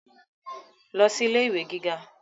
lọ sí ilé ìwé gíga